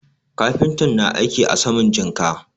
Kafintan na aiki a saman jinka.